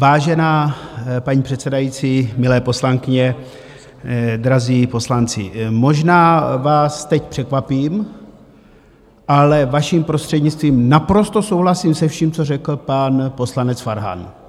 Vážená paní předsedající, milé poslankyně, drazí poslanci, možná vás teď překvapím, ale, vaším prostřednictvím, naprosto souhlasím se vším, co řekl pan poslanec Farhan.